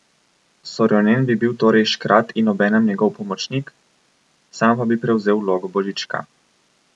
Sorjonen bi bil torej škrat in obenem njegov pomočnik, sam pa bi prevzel vlogo Božička.